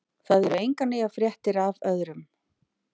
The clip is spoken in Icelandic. Það eru engar nýjar fréttir af öðrum.